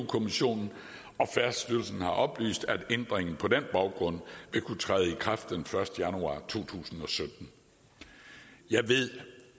kommissionen og færdselsstyrelsen har oplyst at ændringen på den baggrund vil kunne træde i kraft den første januar to tusind og sytten jeg ved